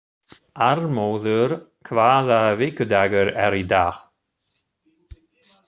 Arnmóður, hvaða vikudagur er í dag?